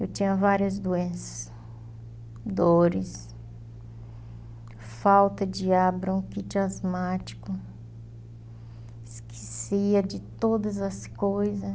Eu tinha várias doenças, dores, falta de ar, bronquite asmática, esquecia de todas as coisas.